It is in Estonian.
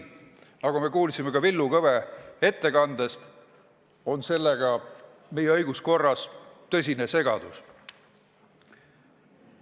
Nagu me kuulsime ka Villu Kõve ettekandest, on sellega tekitatud meie õiguskorras tõsine segadus.